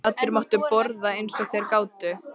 Allir máttu borða eins og þeir gátu.